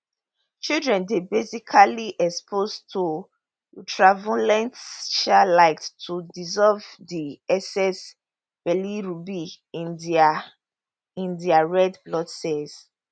children dey basically exposed to ultraviolet um light to dissolve di excess bilirubin in dia in dia red blood cells